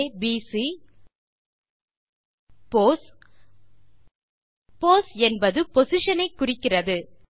ABC pos pos நமது position ஐ குறிக்கிறது